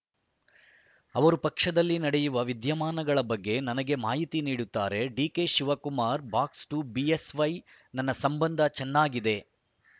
ಅವರು ಪಕ್ಷದಲ್ಲಿ ನಡೆಯುವ ವಿದ್ಯಮಾನಗಳ ಬಗ್ಗೆ ನನಗೆ ಮಾಹಿತಿ ನೀಡುತ್ತಾರೆ ಡಿಕೆ ಶಿವಕುಮಾರ್‌ ಬಾಕ್ಸ್‌ ಎರಡು ಬಿಎಸ್‌ವೈ ನನ್ನ ಸಂಬಂಧ ಚೆನ್ನಾಗಿದೆ